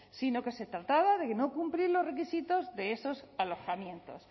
sino que se trataba de no cumplir los requisitos de esos alojamientos